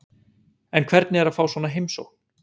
En hvernig er að fá svona heimsókn?